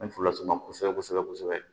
N bɛ furu las'u ma kosɛbɛ kosɛbɛ kosɛbɛ